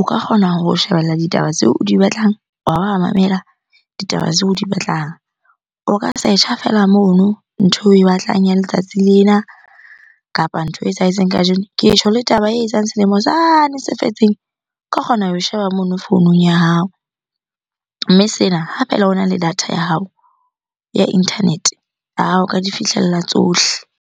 o ka kgona ho shebella ditaba tseo o di batlang, wa ba wa mamela ditaba tseo o di batlang. O ka search-a feela mono ntho eo oe batlang ya letsatsi lena kapa ntho e etsahetseng kajeno. Ke tjho le taba etsahetseng selemo sane se fetseng, o ka kgona ho e sheba mono founung ya hao. Mme sena ha fela ona le data ya hao ya internet-e o ka di fihlella tsohle.